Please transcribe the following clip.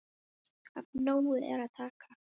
Af nógu er að taka.